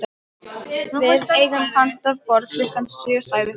Við eigum pantað borð klukkan sjö, sagði hún.